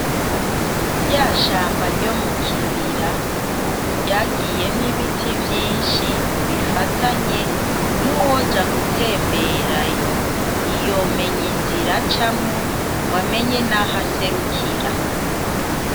Rya shamba ryo mukibira, ubu ryagiyemo ibiti vyinshi bifatanye nuwoja gutemberayo, ntiyo menya inzira acamwo ngo amenye naho aserukira.